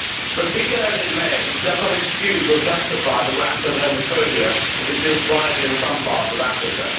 But, be that as it may, it does not excuse or justify the rampant homophobia that exists widely in some parts of Africa.